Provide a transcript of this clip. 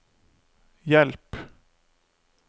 hjelp